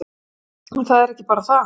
En það er ekki bara það.